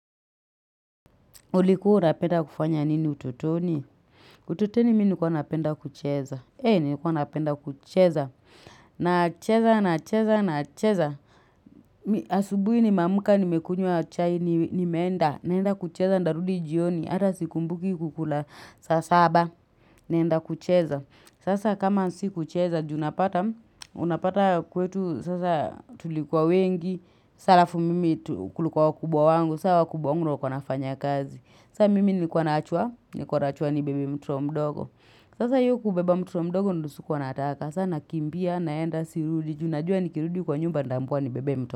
Ulikua unapenda kufanya nini utotoni? Utotoni mi nilikuwa napenda kucheza. Eh, nilikuwa napenda kucheza. Nacheza, nacheza, nacheza. Asubui nimeamuka nimekunywa chai ni nimeenda. Naenda kucheza ndarudi jioni. Ata sikumbuki kukula saa saba. Naenda kucheza. Sasa kama si kucheza, ju napata. Unapata kwetu, sasa tulikuwa wengi. Sa alafu mimi kulikua wakubwa wangu. Sa hao wakubwa wangu ndo walikua wanafanya kazi. Sa mimi nilikua naachwa, nilikua naachwa nibebe mtoto mdogo. Sasa hio kubeba mtoto mdogo ndo sikuwa nataka. Sa nakimbia, naenda, sirudi, ju najua nikirudi kwa nyumba ndaambiwa nibebe mto.